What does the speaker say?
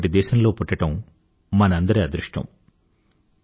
ఇటువంటి దేశంలో పుట్టడం మనందరి అదృష్టం